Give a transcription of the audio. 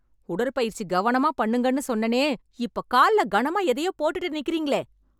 உடற்பயிற்சி கவனமா பண்ணுங்கன்னு சொன்னேனே, இப்ப கால்ல கனமா எதையோ போட்டுட்டு நிக்குறீங்களே.